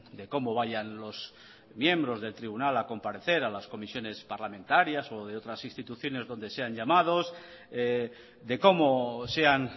de cómo vayan los miembros del tribunal a comparecer a las comisiones parlamentarias o de otras instituciones donde sean llamados de cómo sean